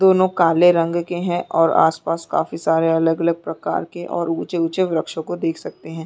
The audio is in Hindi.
दोनों काले रंग के है और आसपास काफी सारे अलग -अलग प्रकार के और ऊंचे -ऊंचे वृक्षों को देख सकते हैं ।